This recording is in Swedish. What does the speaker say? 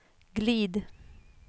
glid